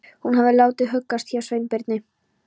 Hún hafði látið huggast hjá Sveinbirni.